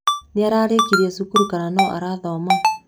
Nĩararĩkirie cukuru kana no arathoma?